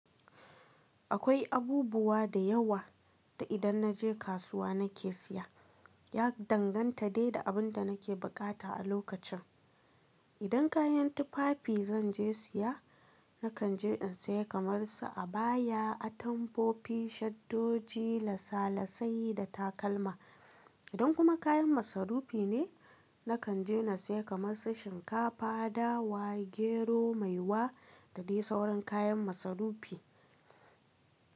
Akwai abubuwa da yawa da idan na je kasuwa na ke siya. Ya danganta da da abin da na ke buƙata a lokacin. Idan kayan tufafi zan je siya, na kan je in siya kamar su abaya, atamfofi, shaddoji, lasa-lasai da takalma. Idan kuma kayan masarufi ne, na kan je na siya kamar su shinkafa, dawa, gero, maiwa da dai sauran kayan masarufi.